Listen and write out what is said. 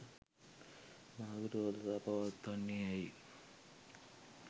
මහා විරෝධතා පවත්වන්නේ ඇයි?